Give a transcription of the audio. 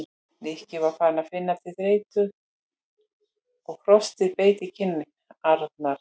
Nikki var farinn að finna til þreytu og frostið beit í kinn- arnar.